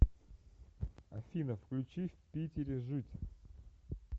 афина включи в питере жить